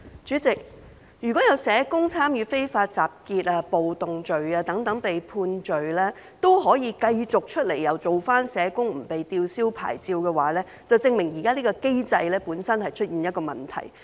主席，如果有社工犯了參與非法集結、暴動等罪行而被判罪，之後仍可繼續當社工、不用被吊銷牌照的話，這便證明現行機制本身出現了問題。